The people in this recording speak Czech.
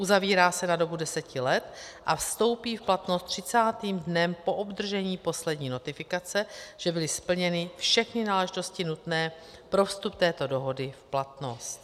Uzavírá se na dobu deseti let a vstoupí v platnost třicátým dnem po obdržení poslední notifikace, že byly splněny všechny náležitosti nutné pro vstup této dohody v platnost.